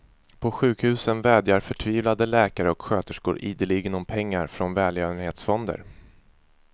På sjukhusen vädjar förtvivlade läkare och sköterskor ideligen om pengar från välgörenhetsfonder.